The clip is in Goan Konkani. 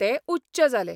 ते उच्च जाले.